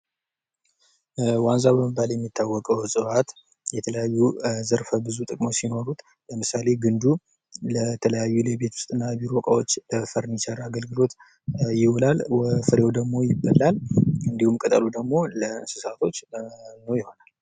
ዋንዛ በመባል የሚታወቀው ዕጽዋት የተለያዩ ዘርፈብዙ ጥቅሞች ሲኖሩት ለምሳሌ ግንዱ ለተለያዩ ለቤት ውስጥና ለቢሮ እቃወች ፈርኒቸር አገልግሎት ይውላል። ፍሬው ደግሞ ይበላል። እንድሁም ቅጠሉ ደግሞ ለእንስሳቶች መኖ ይሆናል።